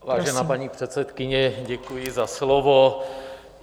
Vážená paní předsedkyně, děkuji za slovo.